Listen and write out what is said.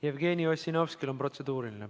Jevgeni Ossinovskil on protseduuriline.